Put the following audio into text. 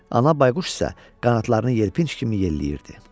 Ana bayquş isə qanadlarını yelpinc kimi yelləyirdi.